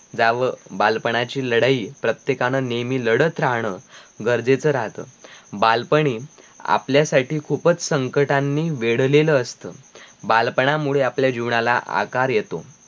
जावं बालपणाची लडाई प्रत्येकानं नेमही लडत राहणं गरजेच्या राहत बालपणी आपल्या साठी खुबचं संकटनानी वेढलेल असत बालपणामुळे आपल्या जीवनाला आकार येतो